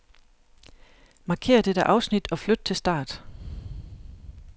Markér dette afsnit og flyt til start.